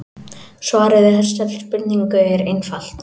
Svarið við þessari spurningu er einfalt.